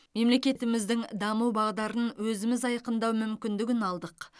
мемлекетіміздің даму бағдарын өзіміз айқындау мүмкіндігін алдық